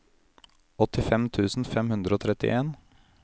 åttifem tusen fem hundre og trettien